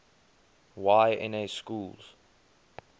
y na schools